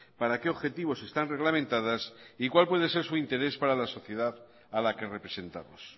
para qué objetivos están reglamentadas y cuál puede ser su interés para la sociedad a la que representamos